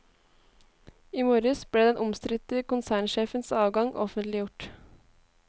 I morges ble den omstridte konsernsjefens avgang offentliggjort.